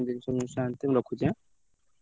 ହଉ।